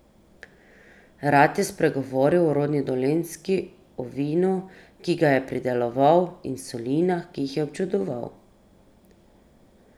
Rad je spregovoril o rodni Dolenjski, o vinu, ki ga je prideloval, in solinah, ki jih je občudoval.